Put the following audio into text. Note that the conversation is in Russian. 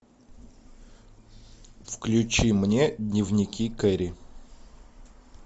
включи мне дневники кэрри